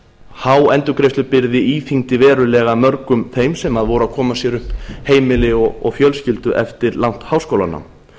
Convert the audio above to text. há endurgreiðslubyrði íþyngdi verulega mörgum þeim sem voru að koma sér upp heimili og fjölskyldu eftir langt háskólanám